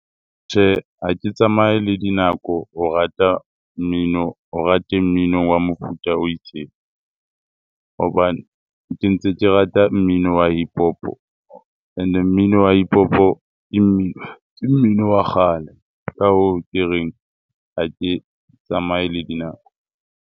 Tjhe, ha ke tsamaye le dinako, o rata mmino, o rate mmino wa mofuta o itseng hobane ke ntse ke rata mmino hip-hop-o. And-e mmino wa hip-hop-o ke mmino wa kgale. Ka hoo, ke reng ha ke tsamaye le dinako.